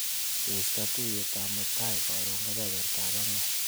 Keista tuiyetab mutai karon kebebertap angwan.